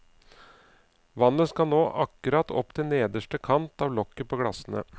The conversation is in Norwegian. Vannet skal nå akkurat opp til nederste kant av lokket på glassene.